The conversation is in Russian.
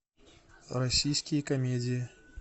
российские комедии